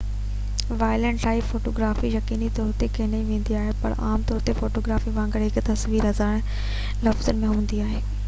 wild life photography يقيني طور تي کنئي ويندي آهي پر عام طور تي فوٽوگرافي وانگر هڪ تصوير هزار لفظن جي هوندي آهي